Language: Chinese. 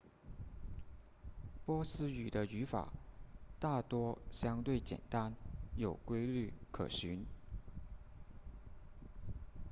波斯语的语法大多相对简单有规律可循